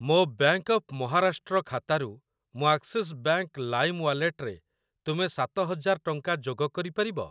ମୋ bank of Maharashtra ଖାତାରୁ ମୋ ଆକ୍ସିସ୍ ବ୍ୟାଙ୍କ୍‌ ଲାଇମ୍ ୱାଲେଟରେ ତୁମେ ସାତ ହଜାର ଟଙ୍କା ଯୋଗ କରିପାରିବ?